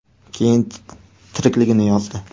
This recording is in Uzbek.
Keyin tirikligini yozdi.